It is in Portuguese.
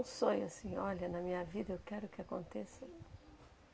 Um sonho assim, olha, na minha vida eu quero que aconteça.